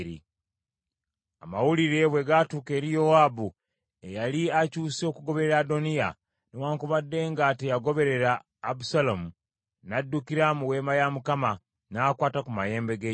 Amawulire bwe gaatuuka eri Yowaabu, eyali akyuse okugoberera Adoniya, newaakubadde nga teyagoberera Abusaalomu, n’addukira mu weema ya Mukama , n’akwata ku mayembe g’ekyoto.